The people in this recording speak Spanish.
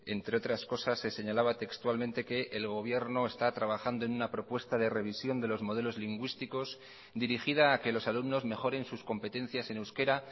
entre otras cosas se señalaba textualmente que el gobierno está trabajando en una propuesta de revisión de los modelos lingüísticos dirigida a que los alumnos mejoren sus competencias en euskera